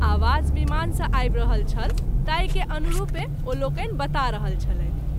आवाज विमान सँ आबि रल छल ताहि के अनुरूपें ओ लोकनि बता रहल छलैथ।